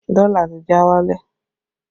Dọ́là ti já wálẹ̀